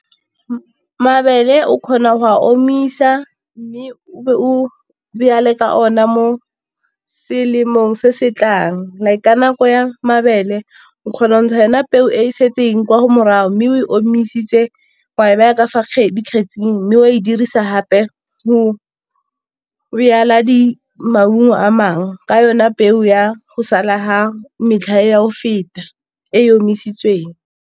Mabele o kgona go a omisa mme o ka ona mo selemong se setlang, like ka nako ya mabele o kgona go ntsha yona peo e setseng kwa morago mme o e omisitse wa e baya ka fa dikgetsing mme o a e dirisa gape go di-maungo a mangwe, ka yona peo ya go sala ya o feta e omisitsweng.